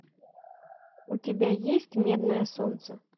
у тебя есть медное солнце